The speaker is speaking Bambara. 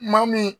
Maa min